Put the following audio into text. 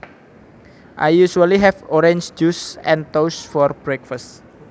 I usually have orange juice and toast for breakfast